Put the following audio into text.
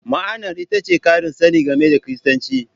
Ma'anar ita ce ƙarin sani game da Kiristanci.